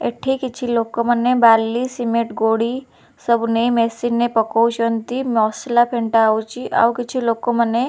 ଏଠି କିଛି ଲୋକମାନେ ବାଲି ସିମେଣ୍ଟ ଗୋଡ଼ି ସବୁ ନେଇ ମେସିନ ରେ ପକଉଚନ୍ତି ମସଲା ଫେଣ୍ଟା ହଉଛି ଆଉ କିଛି ଲୋକମାନେ --